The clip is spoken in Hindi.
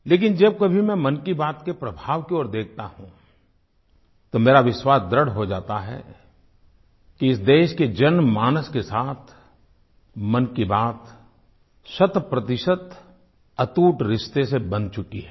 लेकिन जब कभी मैं मन की बात के प्रभाव की ओर देखता हूँ तो मेरा विश्वास दृढ़ हो जाता है कि इस देश के जनमानस के साथ मन की बात शतप्रतिशत अटूट रिश्ते से बंध चुकी है